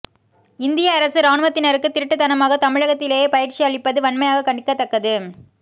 இந்திய அரசு இராணுவத்தினருக்கு திருட்டுத்தனமாக தமிழகத்திலேயே பயிற்சி அளிப்பது வன்மையாக கண்டிக்கத்தக்கது